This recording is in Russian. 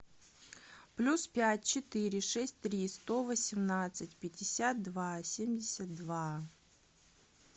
плюс пять четыре шесть три сто восемнадцать пятьдесят два семьдесят два